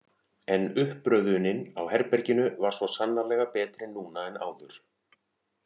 En uppröðunin á herberginu var svo sannarlega betri núna en áður.